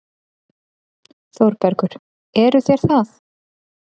ÞÓRBERGUR: Eruð þér það?